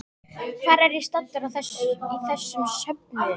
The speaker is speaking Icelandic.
Hvar er ég staddur í þessum söfnuði?